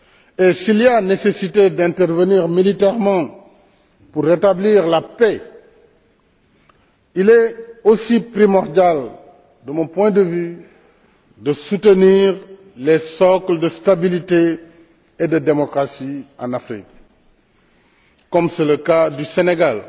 et s'il y a nécessité d'intervenir militairement pour rétablir la paix, il est aussi primordial, de mon point de vue, de soutenir le socle de stabilité et de démocratie en Afrique, comme c'est le cas du Sénégal,